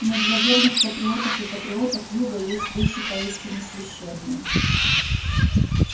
но для верных патриотов и патриоток юга есть вещи поистине священные